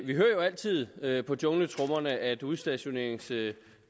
vi jo altid hører på jungletrommerne at udstationeringsdirektivet